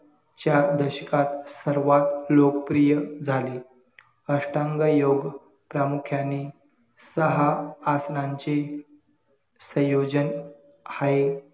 चार दशकात सर्वात लोकप्रिय झाले अष्टांग योग प्रामुख्याने सहा आसनाचे संयोजन हाये